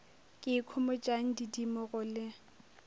ke ikhomotšang didimo go le